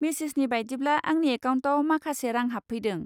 मेसेजनि बायदिब्ला आंनि एकाउन्टआव माखासे रां हाबफैदों।